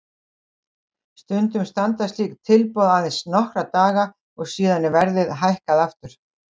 Stundum standa slík tilboð aðeins nokkra daga og síðan er verðið hækkað aftur.